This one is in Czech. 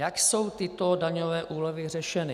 Jak jsou tyto daňové úlevy řešeny?